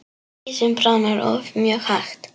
Ísinn bráðnar oft mjög hægt.